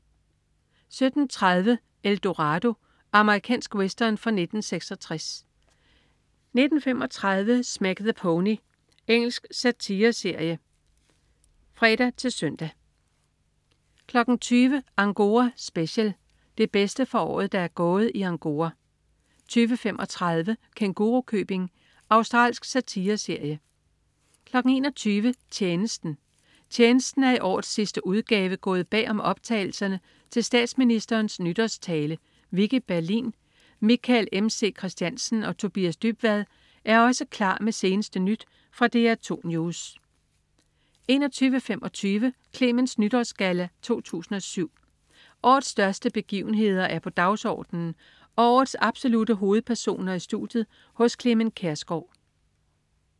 17.30 El Dorado. Amerikansk western fra 1966 19.35 Smack the Pony. Engelsk satireserie (fre-søn) 20.00 Angora special. Det bedste fra året, der er gået i Angora 20.35 Kængurukøbing. Australsk satireserie 21.00 Tjenesten. "Tjenesten" er i årets sidste udgave gået bag om optagelserne til statsministerens nytårstale. Vicki Berlin, Michael MC Christiansen og Tobias Dybvad er også klar med seneste nyt fra DR2 News 21.25 Clements Nytårsgalla, 2007. Årets største begivenheder er på dagsordenen og årets absolutte hovedpersoner i studiet hos Clement Kjersgaard